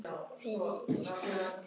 Fyrir Ísland!